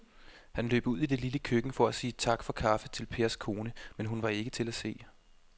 Han løb ud i det lille køkken for at sige tak for kaffe til Pers kone, men hun var ikke til at se.